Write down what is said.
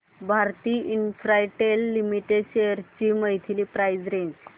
Bharti Infratel limited shares ची monthly price range